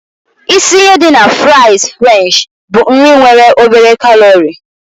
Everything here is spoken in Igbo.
Isi ihe dị na fries french bụ: nri nwere obere kalori.